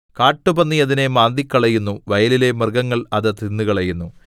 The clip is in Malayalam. കാട്ടുപന്നി അതിനെ മാന്തിക്കളയുന്നു വയലിലെ മൃഗങ്ങൾ അത് തിന്നുകളയുന്നു